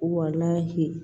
Walahi